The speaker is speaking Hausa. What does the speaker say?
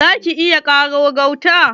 Za ki iya ƙaro gauta?